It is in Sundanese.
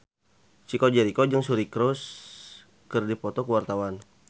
Chico Jericho jeung Suri Cruise keur dipoto ku wartawan